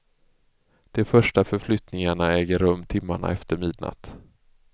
De första förflyttningarna äger rum timmarna efter midnatt.